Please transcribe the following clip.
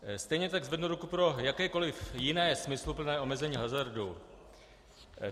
Stejně tak zvednu ruku pro jakékoliv jiné smysluplné omezení hazardu.